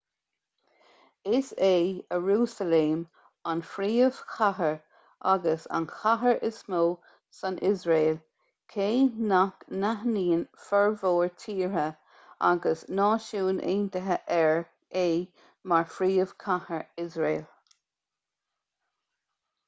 is é iarúsailéim an phríomhchathair agus an chathair is mó san iosrael cé nach n-aithníonn formhór tíortha agus na náisiúin aontaithe é mar phríomhchathair iosrael